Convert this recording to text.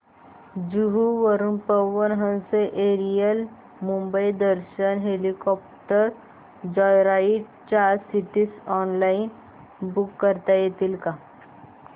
जुहू वरून Pawan Hans aerial Mumbai Darshan helicopter joyride च्या seats online book करता येतील का